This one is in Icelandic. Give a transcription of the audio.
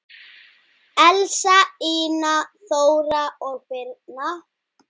Elsa, Ína, Þóra og Birna.